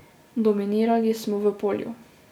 Dominirali smo v polju.